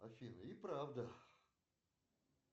афина и правда